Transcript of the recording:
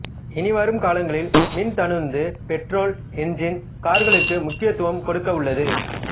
இனி வரும் காலங்களில் மின் தானுந்து பெட்ரோல் என்ஜின் கார்களுக்கு முக்கியத்துவம் கொடுக்க உள்ளது